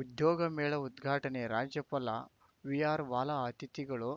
ಉದ್ಯೋಗ ಮೇಳ ಉದ್ಘಾಟನೆ ರಾಜ್ಯಪಾಲ ವಿಆರ್‌ವಾಲಾ ಅತಿಥಿಗಳು